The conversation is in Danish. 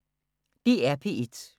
DR P1